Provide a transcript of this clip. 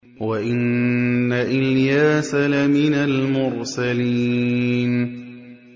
وَإِنَّ إِلْيَاسَ لَمِنَ الْمُرْسَلِينَ